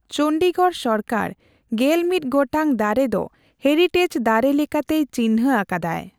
ᱪᱚᱱᱰᱤᱜᱚᱲ ᱥᱚᱨᱠᱟᱨᱯᱮᱜᱮᱞᱢᱤᱛ ᱜᱚᱴᱟᱝ ᱫᱟᱨᱮ ᱫᱚ ᱦᱮᱨᱤᱴᱮᱡ ᱫᱟᱨᱮ ᱞᱮᱠᱟᱛᱮᱭ ᱪᱤᱱᱦᱟᱹ ᱟᱠᱟᱫᱟᱭ ᱾